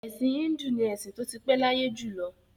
Ẹ̀sìn Híńdù ni ẹ̀sìn tó ti pẹ́ láyé jù lọ.